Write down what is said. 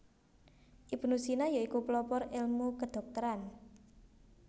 Ibnu Sina ya iku pelopor elmu kedhokteran